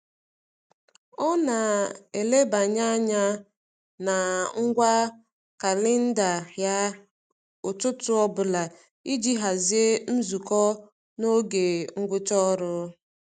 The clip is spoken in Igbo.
Ọ na-elebanye anya na ngwa kalịnda ya ụtụtụ ọbụla iji hazie nzukọ na oge ngwụcha ọrụ.